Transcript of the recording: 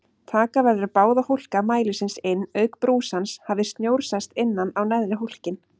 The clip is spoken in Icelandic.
Taka verður báða hólka mælisins inn auk brúsans hafi snjór sest innan á neðri hólkinn.